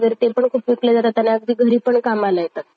फुलं कामाला येतात.